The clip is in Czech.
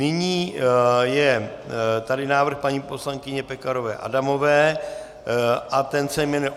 Nyní je tady návrh paní poslankyně Pekarové Adamové a ten se jmenuje